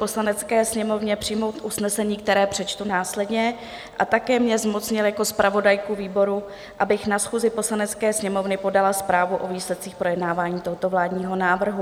Poslanecké sněmovně přijmout usnesení, které přečtu následně, a také mě zmocnil jako zpravodajku výboru, abych na schůzi Poslanecké sněmovny podala zprávu o výsledcích projednávání tohoto vládního návrhu.